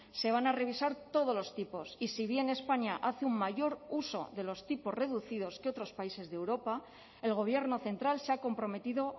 se van a revisar todos los tipos y si bien españa hace un mayor uso de los tipos reducidos que otros países de europa el gobierno central se ha comprometido